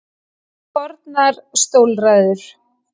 Fornar stólræður.